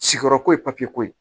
Siyɔrɔ ko ye papiyeko ye